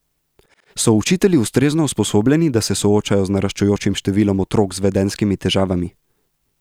So učitelji ustrezno usposobljeni, da se soočajo z naraščajočim številom otrok z vedenjskimi težavami?